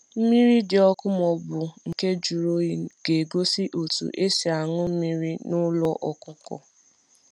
Mmiri dị ọkụ maọbụ nke juru oyi ga egosi otu esi añu mmiri na ụlọ ọkụkọ